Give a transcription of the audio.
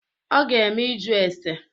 Ọ ga-eme ịjụ ese.